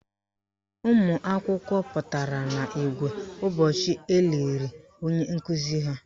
Ụmụakwụkwọ pụtara n' igwe ụbọchị eliri onye nkuzi ha.